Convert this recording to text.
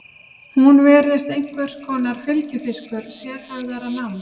Hún virðist einhvers konar fylgifiskur sérhæfðara náms.